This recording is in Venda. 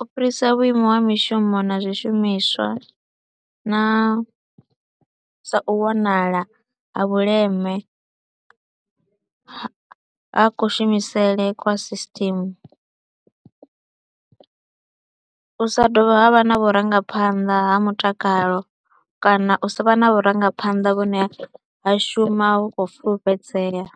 u fhirisa vhuimo ha mishumo na zwishumiswa na sa u wanala ha vhuleme ha ha kushumisele kwa system, u sa dovha ha vha na vhurangaphanḓa ha mutakalo kana u sa vha na vhurangaphanḓa vhune ha shuma khou fulufhedzea.